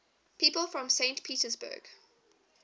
people from saint petersburg